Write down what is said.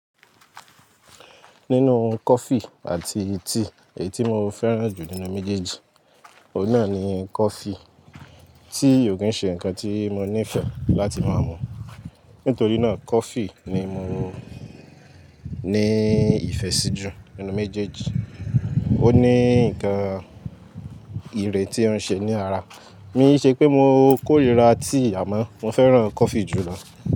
Nínú coffee àti tea èyí tí mo fẹ́ràn jù nínú méjèèjì, òun náà ni coffee tí òún ṣe nǹkan tí mo nífẹ̀ẹ́ láti máa mu. Nítorí náà coffee ni mo nií ìfẹ́ sí jù nínú méjèèjì. Ó ní nǹkan ìrè tí ó ń ṣe ní ara. Mi n ṣé pé mo kórira tea àmọ́ mo fẹ́ràn coffee jù lọ.